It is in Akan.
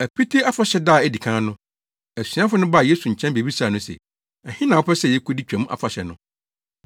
Apiti Afahyɛ da a edi kan no, asuafo no baa Yesu nkyɛn bebisaa no se, “Ɛhe na wopɛ sɛ yekodi Twam Afahyɛ no?”